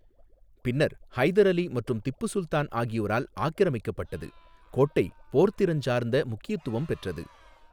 பின்னர் ஹைதர் அலி மற்றும் திப்பு சுல்தான் ஆகியோரால் ஆக்கிரமிக்கப்பட்டது, கோட்டை போர்த்திறஞ்சார்ந்த முக்கியத்துவம் பெற்றது.